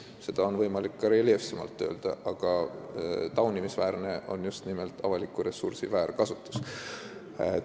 Seda on võimalik ka reljeefsemalt öelda, aga taunimisväärne on just nimelt avaliku ressursi väärkasutus.